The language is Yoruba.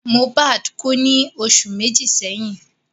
Mohbad kú ní oṣù méjì sẹ́yìn